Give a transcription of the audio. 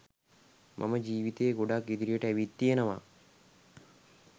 මම ජීවිතේ ගොඩක් ඉදිරියට ඇවිත් තියෙනවා.